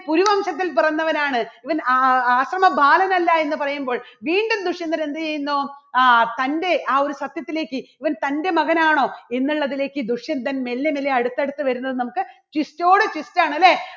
കുരുവംശത്തിൽ പിറന്നവനാണ് ഇവൻ ആ~ആശ്രമ ബാലൻ അല്ല എന്ന് പറയുമ്പോൾ വീണ്ടും ദുഷ്യന്തൻ എന്ത് ചെയ്യുന്നു ആ തന്റെ ആ ഒരു സത്യത്തിലേക്ക് ഇവൻ തന്റെ മകനാണോ എന്നുള്ളതിലേക്ക് ദുഷ്യന്തൻ മെല്ലെ മെല്ലെ അടുത്തടുത്ത് വരുന്നത് നമുക്ക് ചുറ്റോട് ചുറ്റാണ് അല്ലേ?